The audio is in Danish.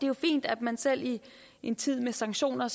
jo fint at man selv i en tid med sanktioner